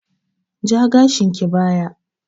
Ja gashinki baya!